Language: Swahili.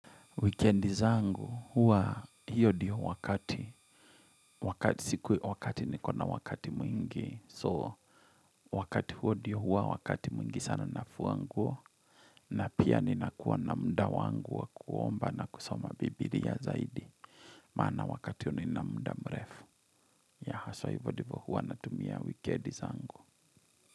Wekendi zangu huwa hiyo diyo wakati. Wakati sikuwe wakati nikona wakati mwingi. So wakati huo diyo huwa wakati mwingi sana nafuanguo. Na pia ninakuwa na muda wangu wa kuomba na kusoma bibiria zaidi. Maana wakati huwa nini muda mrefu. Ya haswa hivo ndivo huwa natumia wikendi zangu.